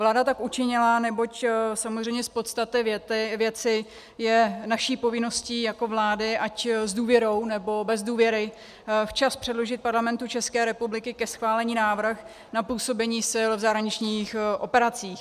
Vláda tak učinila, neboť samozřejmě z podstaty věci je naší povinností jako vlády, ať s důvěrou, nebo bez důvěry, včas předložit Parlamentu České republiky ke schválení návrh na působení sil v zahraničních operacích.